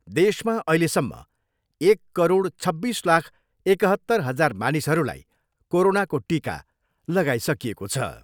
देशमा अहिलेसम्म एक करोड छब्बिस लाख एकहत्तर हजार मानिसहरूलाई कोरोनाको टिका लागाइसकिएको छ।